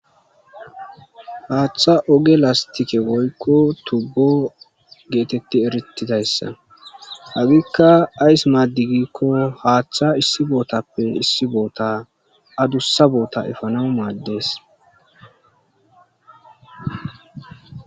Haaththa oge lastike woykko tubbo geetetti erittidayssa hagikka ays maadigikko haaththa issi bootappe issi boota adussa boota efana maaddees.